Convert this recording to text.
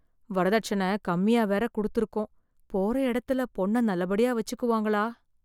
வரதட்சண கம்மியா வேற கொடுத்திருக்கோம், போற இடத்துல பொண்ண நல்லபடியா வச்சிக்குவாங்களா?